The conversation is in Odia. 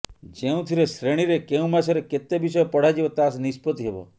ଯେଉଁଥିରେ ଶ୍ରେଣୀରେ କେଉଁ ମାସରେ କେତେ ବିଷୟ ପଢ଼ାଯିବ ତାହା ନିଷ୍ପତି ହେବ